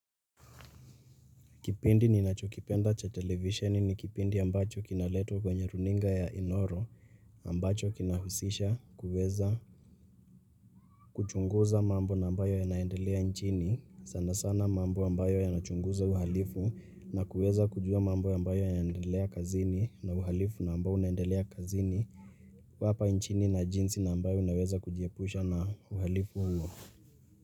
Kipindi ni nachokipenda cha televisioni ni kipindi ambacho kinaletwa kwenye runinga ya Inoro ambacho kina husisha kuweza kuchunguza mambo na ambayo ya naendelea nchini sana sana mambo ambayo ya nachunguza uhalifu na kuweza kujua mambo ambayo ya naendelea kazini na uhalifu na ambao unaendelea kazini hapa nchini na jinsi na ambayo naweza kujiepusha na uhalifu huo.